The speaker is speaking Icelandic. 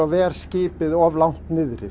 ver skipið of langt niðri